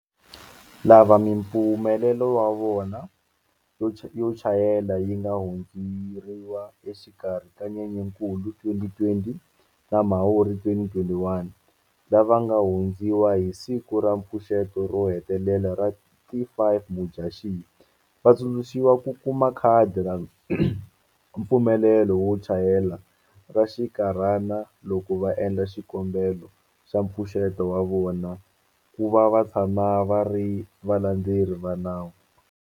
Lava mipfumelelo ya vona yo chayela yi nga hundzeriwa exikarhi ka Nyenyankulu 2020 na Mhawuri 2021, lava nga hundziwa hi siku ra mpfuxeto ro hetelela ra ti 5 Mudyaxihi, va tsundzuxiwa ku kuma khadi ra mpfumelelo wo chayela ra xikarhana loko va endla xikombelo xa mpfuxeto wa vona ku va va tshama va ri valandzeleri va nawu.